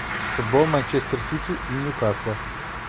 футбол манчестер сити и ньюкасла